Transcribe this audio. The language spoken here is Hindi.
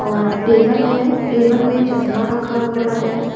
और टेबल है टेबल में चश्मा रखा हुआ है।